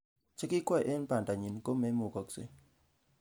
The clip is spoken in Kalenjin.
Chekikwai eng banda nyi ko memukaksei